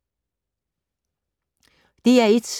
DR1